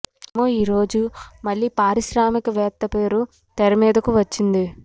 మరేమో ఈ రోజు మళ్లీ పారిశ్రామిక వేత్త పేరు తెరమీదకు వచ్చింది